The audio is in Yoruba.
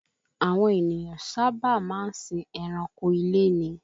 Àwọn ènìyàn sáábà máa sìn ẹranko ilé ni